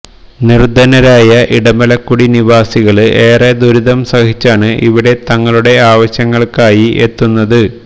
നിര്ദ്ധനരായ ഇടമലക്കുടി നിവാസികള് ഏറെ ദുരിതം സഹിച്ചാണ് ഇവിടെ തങ്ങളുടെ ആവശ്യങ്ങള്ക്കായി എത്തുന്നത്